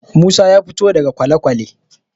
Musa ya fito daga kwalekwale.